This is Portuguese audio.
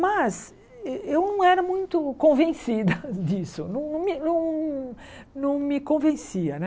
Mas eu não era muito convencida disso, não me não não me convencia, né?